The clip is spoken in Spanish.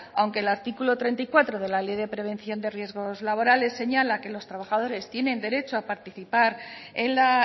aunque el artículo treinta y cuatro de la ley de prevención de riesgos laborales señala que los trabajadores tienen derecho a participar en la